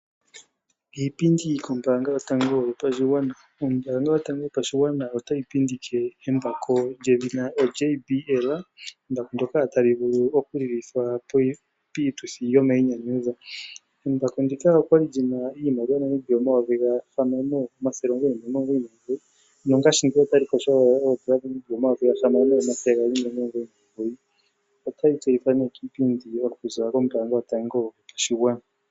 Iipindi kombaanga yotango yopashigwana, ombaanga yotango yopashigwana otayi pindike embako lyedhina JBL. Embako ndoka tali vulu oku lilithwa piituthi yomainyanyudho. Embako ndika olya li lyina iimaliwa yoondola dhaNamibia N$6 999.00 nongaashingeyi otali adhikwa koondola dhaNamibia N$6 299.00. Otali tseyithwa nee kiipindi okuzilila kombaanga yotango yopashigwana.